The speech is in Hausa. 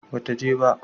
ba ta je ba